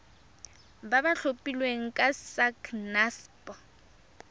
ba ba tlhophilweng ke sacnasp